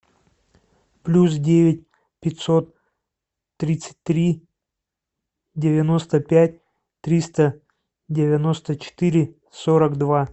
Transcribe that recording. плюс девять пятьсот тридцать три девяносто пять триста девяносто четыре сорок два